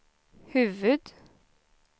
huvud-